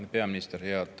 Hea peaminister!